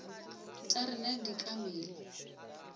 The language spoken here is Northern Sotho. tša rena di ka mela